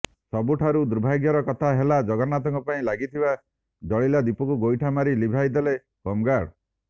ସବୁଠାରୁ ଦୁର୍ଭାଗ୍ୟର କଥା ହେଲା ଜଗନ୍ନାଥଙ୍କ ପାଇଁ ଲାଗିଥିବା ଜିଳିଲା ଦୀପକୁ ଗୋଇଠା ମାରି ଲିଭାଇ ଦେଲେ ହୋମଗାର୍ଡ